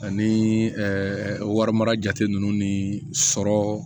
Ani warimara jate ninnu ni sɔrɔ